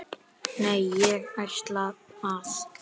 Nei, ég ætla að.